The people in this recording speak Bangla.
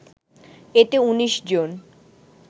এতে ১৯ জন